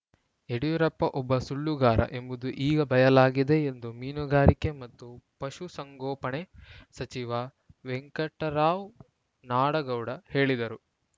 ಯಡಿಯೂರಪ್ಪ ಒಬ್ಬ ಸುಳ್ಳುಗಾರ ಎಂಬುದು ಈಗ ಬಯಲಾಗಿದೆ ಎಂದು ಮೀನುಗಾರಿಕೆ ಮತ್ತು ಪಶುಸಂಗೋಪಣೆ ಸಚಿವ ವೆಂಕಟರಾವ್‌ ನಾಡಗೌಡ ಹೇಳಿದರು